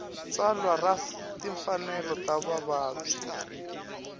tsalwa ra timfanelo ta vavabyi